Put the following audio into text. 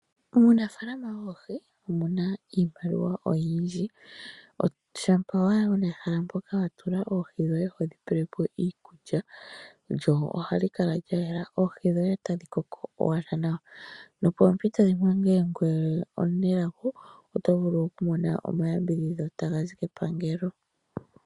Muunafaalama woohi omuna iimaliwa oyindji, shampa owala wuna ehala mpoka wa tula oohi dhoye hodhi pelepo iikulya, lyo ohali kala lya yela, oohi dhoye otadhi koko owala nawa. Nopoompito dhimwe ngele ongoye omunelago oto vulu oku mona omayambidhidho taga zi kepangelo.